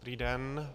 Dobrý den.